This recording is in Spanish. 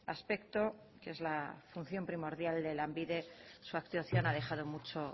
aspecto que es la función primordial de lanbide su actuación ha dejado mucho